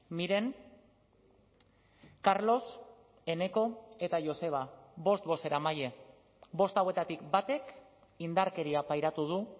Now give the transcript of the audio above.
miren carlos eneko eta joseba bost bozeramaile bost hauetatik batek indarkeria pairatu du